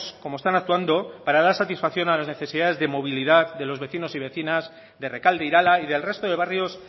como están actuando para dar satisfacción a las necesidades de movilidad de los vecinos y vecinas de rekalde irala y del resto de barrios